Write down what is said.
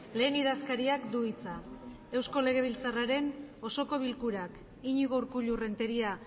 lehen idazkariak du hitza eusko legebiltzarraren osoko bilkurak iñigo urkullu renteria